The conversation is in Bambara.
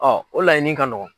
Ɔ o laɲini ka nɔgɔ.